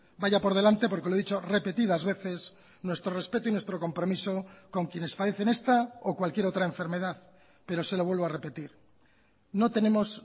vaya por delante porque lo he dicho repetidas veces nuestro respeto y nuestro compromiso con quienes padecen esta o cualquier otra enfermedad pero se lo vuelvo a repetir no tenemos